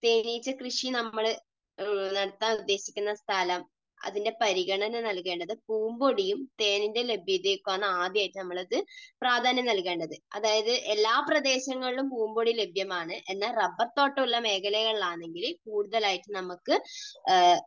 തേനീച്ച കൃഷി നമ്മൾ നടത്താൻ ഉദ്ദേശിക്കുന്ന സ്ഥലം, അതിൻറെ പരിഗണന നൽകേണ്ടത് പൂമ്പൊടിയും തേനിൻറെ ലഭ്യതയും ഒക്കെ വേണം ആദ്യമായിട്ട് നമ്മൾ പ്രാധാന്യം നൽകേണ്ടത് അതായത് എല്ലാ പ്രദേശങ്ങളിലും പൂമ്പൊടി ലഭ്യമാണ്. എന്നാൽ റബ്ബർതോട്ടം ഉള്ള മേഖലകളിലാണെങ്കിൽ കൂടുതലായിട്ട് നമുക്ക്